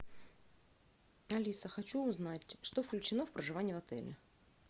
алиса хочу узнать что включено в проживание в отеле